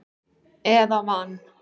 eða van.